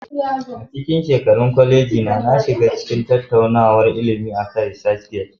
A cikin shekarun koleji na, na shiga cikin tattaunawar ilimi akan ResearchGate.